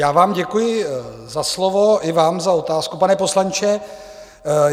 Já vám děkuji za slovo, i vám za otázku, pane poslanče.